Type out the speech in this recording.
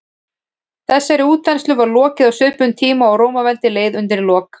þessari útþenslu var lokið á svipuðum tíma og rómaveldi leið undir lok